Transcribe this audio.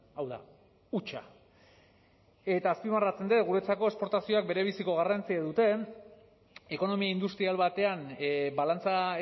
hau da hutsa eta azpimarratzen dut guretazako esportazioak berebiziko garrantzia dute ekonomi industrial batean balantza